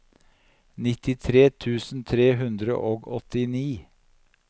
nittitre tusen tre hundre og åttini